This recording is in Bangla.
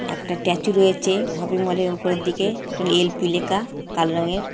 একটা ট্যাচু রয়েছে শপিং মলের উপরের দিকে একটা এল.পি. লেখা কালো রংয়ের--